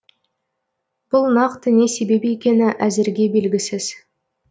бұл нақты не себеп екені әзірге белгісіз